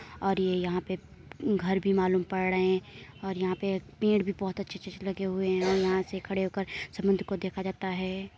और ये यहाँ पे घर भी मालूम पड़ रहे हैं और यहाँ पे पेड़ भी बहोत अच्छे अच्छे लगे हुए हैं और यहाँ से खड़े होकर समुन्द्र को देखा जाता है।